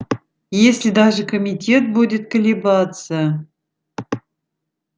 если даже комитет будет колебаться